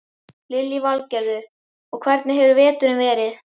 Lillý Valgerður: Hvernig hefur veturinn verið?